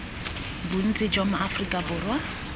bontsi jwa ma aforika borwa